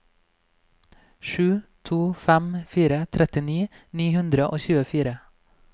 sju to fem fire trettini ni hundre og tjuefire